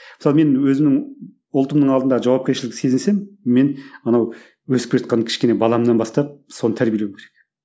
мысалы мен өзімнің ұлтымның алдындағы жауапкершілікті сезінсем мен анау өсіп келе жатқан кішкене баламнан бастап соны тәрбиелеу керек